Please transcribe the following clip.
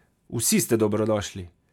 Vsi ste dobrodošli!